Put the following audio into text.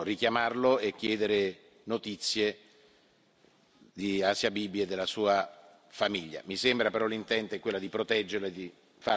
Se voi ritenete opportuno, potrò richiamarlo e chiedere notizie di Asia Bibi e della sua famiglia.